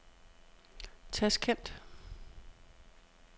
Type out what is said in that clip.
Tasjkent